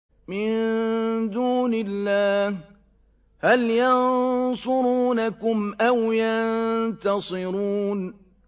مِن دُونِ اللَّهِ هَلْ يَنصُرُونَكُمْ أَوْ يَنتَصِرُونَ